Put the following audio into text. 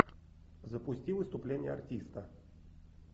запусти выступление артиста